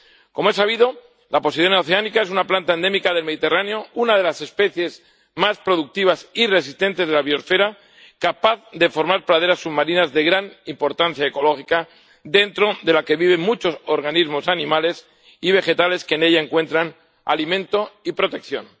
Como es sabido, la Posidonia oceanica es una planta endémica del Mediterráneo, una de las especies más productivas y resistentes de la biosfera, capaz de formar praderas submarinas de gran importancia ecológica, dentro de la que viven muchos organismos animales y vegetales que en ella encuentran alimento y protección.